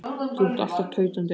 Þú ert alltaf tautandi eitthvað.